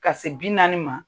Ka se bi naani ma